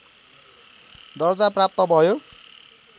दर्जा प्राप्त भयो